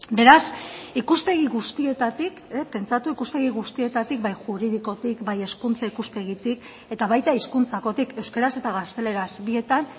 beraz ikuspegi guztietatik pentsatu ikuspegi guztietatik bai juridikotik bai hezkuntza ikuspegitik eta baita hizkuntzakotik euskaraz eta gazteleraz bietan